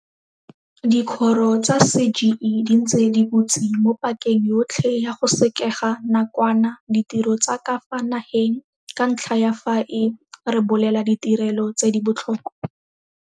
Dikgoro tsa CGE di ntse di butse mo pakeng yotlhe ya go sekega nakwana ditiro tsa ka fa nageng ka ntlha ya fa e rebolela ditirelo tse di botlhokwa.